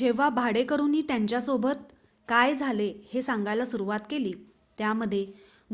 जेव्हा भाडेकरूनी त्यांच्या सोबत काय झाले हे सांगायला सुरवात केली त्यामध्ये